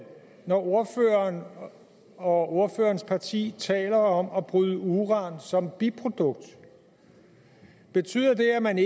når ordføreren og ordførerens parti taler om at bryde uran som biprodukt betyder det at man